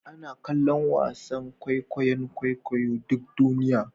Ana kallon wasan kwaikwayon kwaikwayo duk duniya